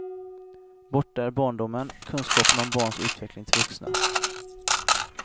Borta är barndomen, kunskapen om barns utveckling till vuxna.